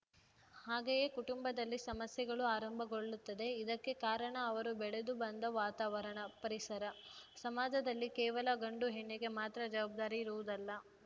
ಹಾಗೆಯೇ ಕುಟುಂಬದಲ್ಲಿ ಸಮಸ್ಯೆಗಳು ಆರಂಭಗೊಳ್ಳುತ್ತದೆ ಇದಕ್ಕೆ ಕಾರಣ ಅವರು ಬೆಳೆದು ಬಂದ ವಾತಾವರಣ ಪರಿಸರ ಸಮಾಜದಲ್ಲಿ ಕೇವಲ ಗಂಡು ಹೆಣ್ಣಿಗೆ ಮಾತ್ರ ಜವಾಬ್ದಾರಿ ಇರುವುದಲ್ಲ